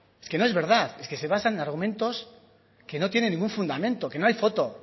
es que no es verdad es que se basa en argumentos que no tienen ningún fundamento que no hay foto